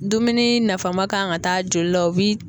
Dumuni nafama kan ka ta joli la o bi